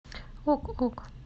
ок ок